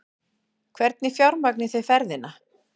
Hvernig fjármagnið þið ferðina?